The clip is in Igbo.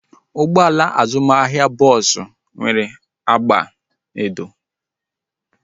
Ụgbọala azụmahịa bọọsu nwere agba edo